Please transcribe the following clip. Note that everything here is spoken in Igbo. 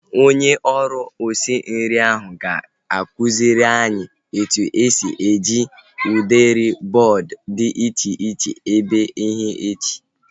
Onye ọrụ osi nri ahu ga-akụziri anyị etu esi eji udiri bọọdu dị iche iche ebe ihe echi